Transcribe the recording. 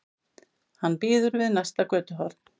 Hann bíður við næsta götuhorn.